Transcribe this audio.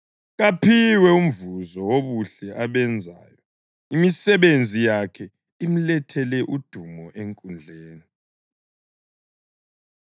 Kaphiwe umvuzo wobuhle abenzayo, imisebenzi yakhe imlethele udumo enkundleni.